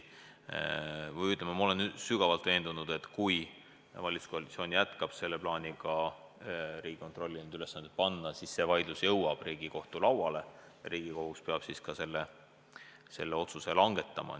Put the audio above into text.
Ma olen sügavalt veendunud, et kui valitsuskoalitsioon jätkab plaaniga Riigikontrollile need ülesanded panna, siis see vaidlus jõuab Riigikohtu lauale ja Riigikohus peab siis ka selle otsuse langetama.